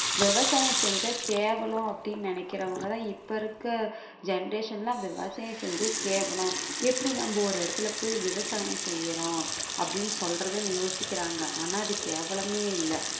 விவசாயம் செஞ்சா கேவலம் அப்படின்னு நினைக்குறவங்க தான் இப்ப இருக்க generation எல்லாம் விவசாயம் செஞ்சா கேவலம் எப்படி நம்ம ஒரு இடத்துல போயி விவசாயம் செய்யுறோம் அப்படின்னு சொல்றதுன்னு யோசிக்கிறாங்க ஆனா அது கேவலமே இல்ல